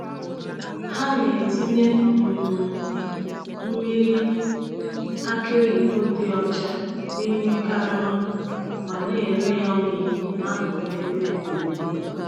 Ha na-etinye um mmiri aki oyibo dị ọcha n’ime karama ma na-ere ya oyi n’akụkụ ebe egwuregwu.